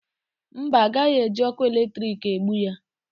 Mba, a gaghị eji ọkụ eletriki egbu ya.